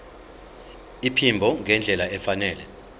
iphimbo ngendlela efanele